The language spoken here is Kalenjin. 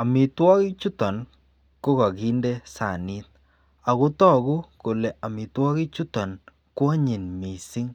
Amitwakik chuton ko kakinde sanit akotaku Kole amitwagik chuton kwanyin mising